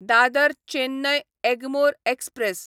Dadar Chennai Egmore express